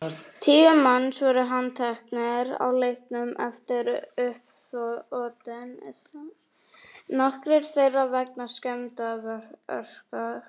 Tíu manns voru handteknir á leiknum eftir uppþotin, nokkrir þeirra vegna skemmdarverka.